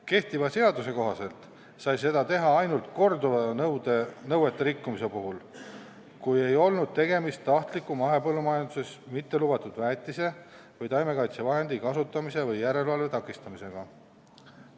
Kehtiva seaduse kohaselt sai seda teha ainult korduva nõuete rikkumise puhul, kui ei olnud tegemist tahtliku mahepõllumajanduses mitte lubatud väetise või taimekaitsevahendi kasutamise või järelevalve takistamisega.